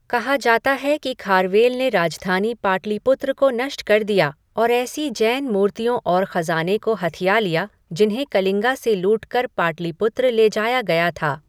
कहा जाता है कि खारवेल ने राजधानी पाटलिपुत्र को नष्ट कर दिया और ऐसी जैन मूर्तियों और खज़ाने को हथिया लिया जिन्हें कलिंगा से लूटकर पाटलिपुत्र ले जाया गया था।